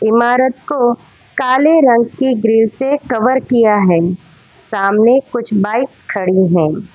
ईमारत को काले रंग की ग्रिल से कवर किया है सामने कुछ बाइक खड़ी हैं।